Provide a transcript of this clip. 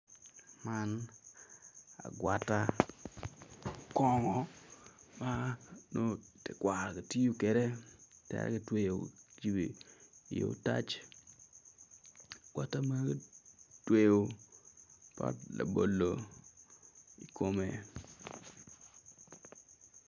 Man agwata kongo ma nongo tekwaro tiyo kwede teki gitweyo gicibo i otac agwata man kitweyo ki pot labolo i kome.